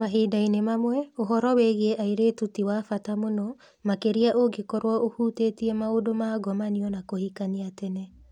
Mahinda-inĩ mamwe, ũhoro wĩgiĩ airĩtu ti wa bata mũno, makĩria ũngĩkorũo ũhutĩtie maũndũ ma ngomanio na kũhikania tene.